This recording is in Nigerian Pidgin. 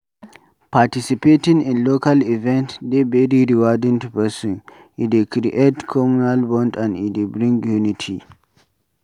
Participating in local event dey very rewarding to person, e dey create communal bond and e dey bring unity